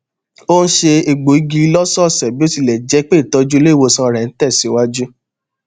ó n se egbò igi lọsọọsẹ bí ó tilẹ jẹ pé ìtọjú ilé ìwòsàn rẹ n tẹsìwájú